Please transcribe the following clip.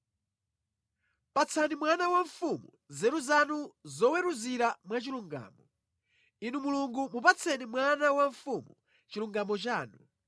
Patsani mwana wa mfumu nzeru zanu zoweruzira mwa chilungamo, Inu Mulungu mupatseni mwana wa mfumu chilungamo chanu.